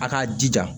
A k'a jija